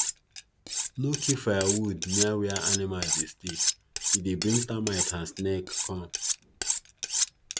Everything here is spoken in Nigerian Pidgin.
no keep firewood near where animal dey stay e dey bring termite and snake come